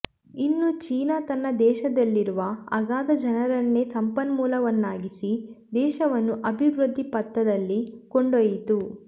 ಇನ್ನು ಚೀನಾ ತನ್ನ ದೇಶದಲ್ಲಿರುವ ಅಗಾಧ ಜನರನ್ನೇ ಸಂಪನ್ಮೂಲವನ್ನಾಗಿಸಿ ದೇಶವನ್ನು ಅಭಿವೃದ್ಧಿ ಪಥದಲ್ಲಿ ಕೊಂಡೊಯ್ಯಿತು